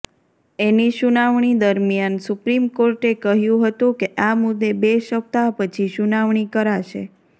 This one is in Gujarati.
એની સુનાવણી દરમિયાન સુપ્રીમ કોર્ટે કહ્યું હતું કે આ મુદ્દે બે સપ્તાહ પછી સુનાવણી કરાશે